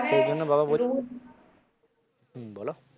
সেই জন্য বাবা বলছিল হম বল